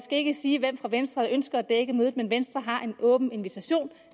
ikke sige hvem fra venstre der ønsker at dække mødet men venstre har en åben invitation